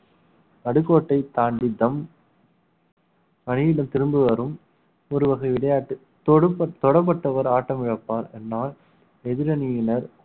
ந்டுகோட்டை தாண்டி தம் அணியிடம் திரும்ப வரும் ஒரு வகை விளையாட்டு தொடுப்~ தொடப்பட்டவர் ஆட்டம் இழப்பார் என்றால் எதிரணியினர்